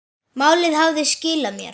Málið hafði skilað sér.